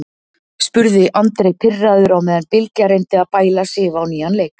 spurði Andri pirraður á meðan Bylgja reyndi að bæla Sif á nýjan leik.